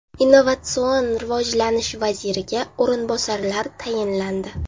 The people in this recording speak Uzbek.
Innovatsion rivojlanish vaziriga o‘rinbosarlar tayinlandi.